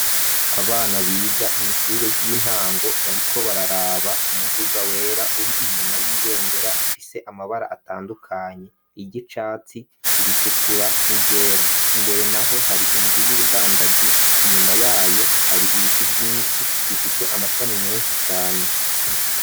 Abana biga mw'ishure ry'intango bariko bararaba umuduga wera uri inyuma y'ibendera ifise amabara atandukanye iryicatsi iritukura n'iryera imbere naho hari inzu y'ubudandaji inyuma yayo hari ibiti vyishi bifise amashami meshi cane.